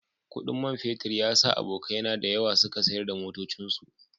Kudin man fetur ya sa abokaina da yawa suka sayar da motocinsu